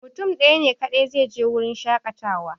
Mutum ɗaya ne kaɗai zai je wurin shaƙatawa